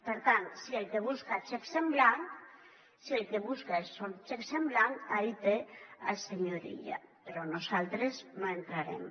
per tant si el que busca són xecs en blanc si el que busca són xecs en blanc ahí té el senyor illa però nosaltres no hi entrarem